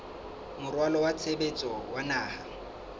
moralo wa tshebetso wa naha